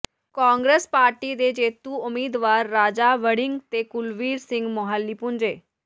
Congress party ਦੇ ਜੇਤੂ ਉਮੀਦਵਾਰ ਰਾਜਾ ਵੜਿੰਗ ਤੇ ਕੁਲਵੀਰ ਸਿੰਘ ਮੁਹਾਲੀ ਪੁੱਜੇ